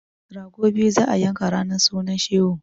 Rago biyu za a yanka ranar sunan shehu!